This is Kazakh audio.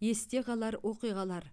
есте қалар оқиғалар